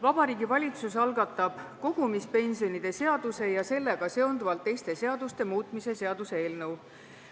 Vabariigi Valitsus algatab kogumispensionide seaduse ja sellega seonduvalt teiste seaduste muutmise seaduse eelnõu.